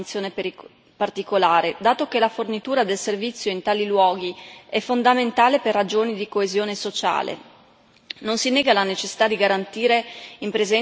Le zone più remote e scarsamente popolate meritano una menzione particolare, dato che la fornitura del servizio in tali luoghi è fondamentale per ragioni di coesione sociale.